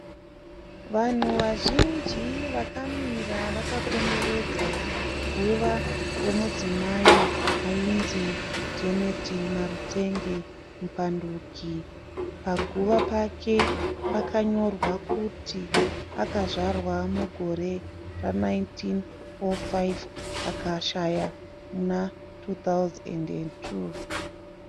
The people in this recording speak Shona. Vanhu vazhinji vakamira vakakomberedza guva remudzimai ainzi Janet Marutenge Mupanduki. Paguva pake pakanyorwa kuti akazvarwa mugore ra1905 akashaya muna2002.